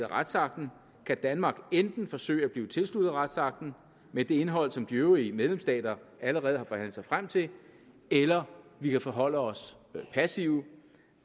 retsakten kan danmark enten forsøge at blive tilsluttet retsakten med det indhold som de øvrige medlemsstater allerede har forhandlet sig frem til eller vi kan forholde os passivt